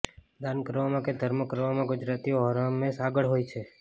દાન કરવામાં કે ધર્મ કરવામાં ગુજરાતીઓ હરહમેશ આગળ હોય છે